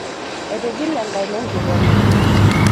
Etigile enkaina enkikombe.